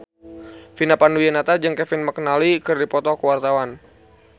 Vina Panduwinata jeung Kevin McNally keur dipoto ku wartawan